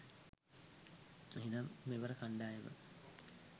එහෙමනම් මෙවර .කණ්ඩායම